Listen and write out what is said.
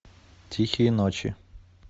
тихие ночи